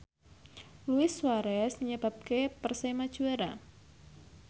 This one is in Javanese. Luis Suarez nyebabke Persema juara